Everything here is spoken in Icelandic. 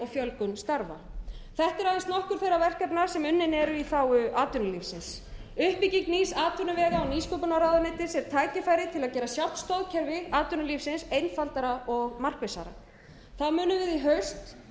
fjölgun starfa þetta eru aðeins nokkur þeirra verkefna sem unnin eru í þágu atvinnulífsins uppbygging nýs atvinnuvega og nýsköpunarráðuneytis er tækifæri til að gera sjálft stoðkerfi atvinnulífsins einfaldara og markvissara við munum í haust